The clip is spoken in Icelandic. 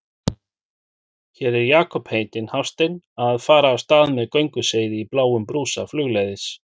Hér er Jakob heitinn Hafstein að fara af stað með gönguseiði í bláum brúsa flugleiðis.